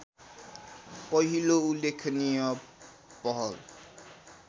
पहिलो उल्लेखनीय पहल